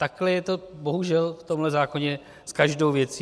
Takhle je to bohužel v tomhle zákoně s každou věcí.